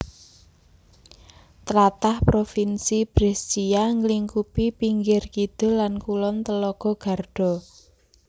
Tlatah Provinsi Brescia nglingkupi pinggir kidul lan kulon telaga Garda